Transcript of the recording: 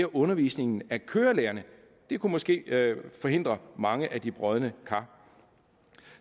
undervisningen af kørelærerne det kunne måske forhindre mange af de brodne kar